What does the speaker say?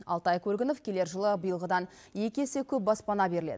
алтай көлгінов келер жылы биылғыдан екі есе көп баспана беріледі